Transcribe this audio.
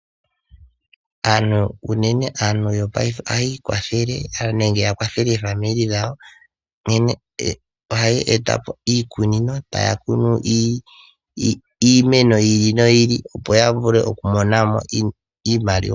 Aantu yopaife ohayi ikwathele oshowo oku kwathela aakwanezimo yawo moku eta po iikunino etaya kunu iimeno yi ili noyi ili, opo ya vule oku mona mo iimaliwa.